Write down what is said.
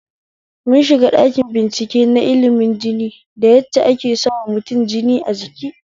Mun shiga ɗakin bincike na ilimin jini da yadda ake sawa mutum jin a jiki